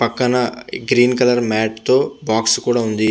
పక్కన green colour mat తో box కూడా ఉంది.